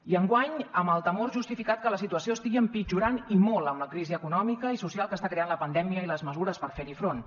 i enguany amb el temor justificat que la situació estigui empitjorant i molt amb la crisi econòmica i social que està creant la pandèmia i les mesures per fer hi front